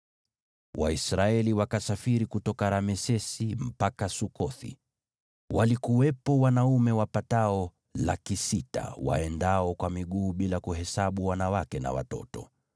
Waisraeli wakasafiri kutoka Ramesesi mpaka Sukothi. Walikuwepo wanaume wapatao 600,000 waendao kwa miguu bila kuhesabu wanawake na watoto.